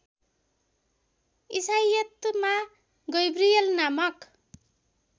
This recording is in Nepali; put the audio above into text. ईसाईयतमा गैब्रिएल नामक